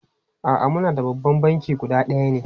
A'a, muna da babban banki guda ɗaya ne.